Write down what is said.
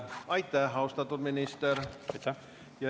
Aitäh, austatud minister!